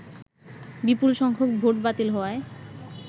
বিপুল সংখ্যক ভোট বাতিল হওয়ায়